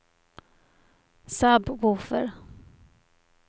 sub-woofer